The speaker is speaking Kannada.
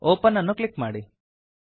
ಒಪೆನ್ ಅನ್ನು ಕ್ಲಿಕ್ ಮಾಡಿ